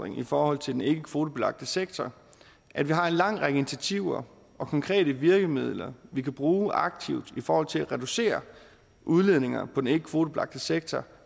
i forhold til den ikkekvotebelagte sektor at vi har en lang række initiativer og konkrete virkemidler vi kan bruge aktivt i forhold til at reducere udledningen på den ikkekvotebelagte sektor